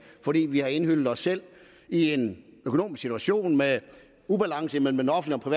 fordi vi har indhyllet os selv i en økonomisk situation med en ubalance mellem den offentlige og